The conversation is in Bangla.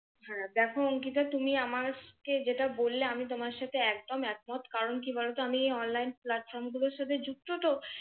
আহ দেখ অংকিতা তুমি আমাকে যেটা বললে আমি তোমার সাথে একদম একমত কারণ কি বলত আমি online platform গুলোর সাথে যুক্ত তো।